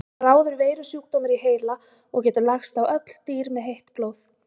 Það er bráður veirusjúkdómur í heila og getur lagst á öll dýr með heitt blóð.